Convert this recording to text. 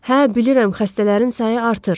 Hə, bilirəm xəstələrin sayı artır.